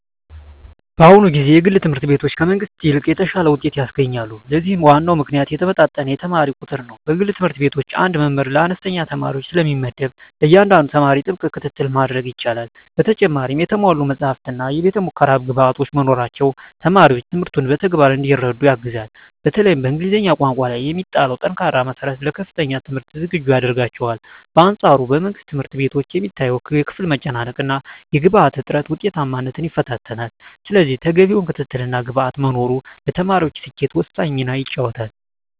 በአሁኑ ጊዜ የግል ትምህርት ቤቶች ከመንግሥት ይልቅ የተሻለ ውጤት ያስገኛሉ። ለዚህም ዋናው ምክንያት የተመጣጠነ የተማሪ ቁጥር ነው። በግል ትምህርት ቤቶች አንድ መምህር ለአነስተኛ ተማሪዎች ስለሚመደብ፣ ለእያንዳንዱ ተማሪ ጥብቅ ክትትል ማድረግ ይቻላል። በተጨማሪም የተሟሉ መጻሕፍትና የቤተ-ሙከራ ግብዓቶች መኖራቸው ተማሪዎች ትምህርቱን በተግባር እንዲረዱ ያግዛል። በተለይም በእንግሊዝኛ ቋንቋ ላይ የሚጣለው ጠንካራ መሠረት ለከፍተኛ ትምህርት ዝግጁ ያደርጋቸዋል። በአንፃሩ በመንግሥት ትምህርት ቤቶች የሚታየው የክፍል መጨናነቅና የግብዓት እጥረት ውጤታማነትን ይፈታተናል። ስለዚህ ተገቢው ክትትልና ግብዓት መኖሩ ለተማሪዎች ስኬት ወሳኝ ሚና ይጫወታል።